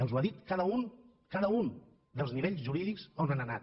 els ho ha dit cada un cada un dels nivells jurídics on han anat